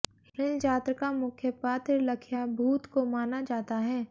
हिलजात्र का मुख्य पात्र लखियाभूत को माना जाता है